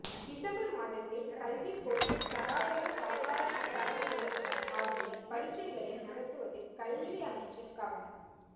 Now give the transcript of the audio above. December மாதத்தில் கல்விப் பொதுத் தராதர சாதாரண தரம் உயர்தரம் ஆகிய பரீட்சைகளை நடத்துவதில் கல்வி அமைச்சர் கவனம்